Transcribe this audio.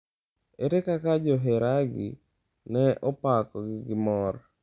Ere kaka joheragi ne opakogi gi mor?